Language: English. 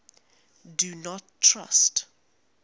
do not trust